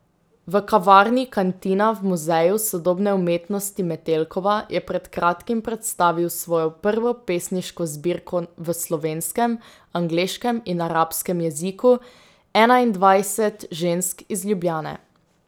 V kavarni Kantina v Muzeju sodobne umetnosti Metelkova je pred kratkim predstavil svojo prvo pesniško zbirko v slovenskem, angleškem in arabskem jeziku Enaindvajset žensk iz Ljubljane.